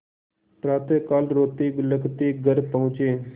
प्रातःकाल रोतेबिलखते घर पहुँचे